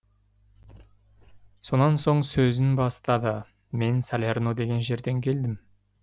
сонан соң сөзін бастады мен салерно деген жерден келдім